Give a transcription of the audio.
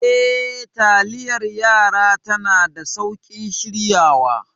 Eh, taliyar yara tana da sauƙin shiryawa.